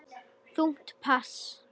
Þungt pass.